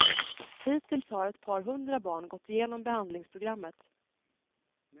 Hittills har ett par hundra barn gått igenom behandlingsprogrammet.